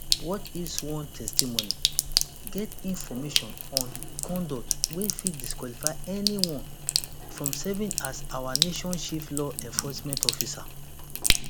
what if sworn testimony get information on conduct wey fit disqualify anyone from serving as our nation chief law enforcement officer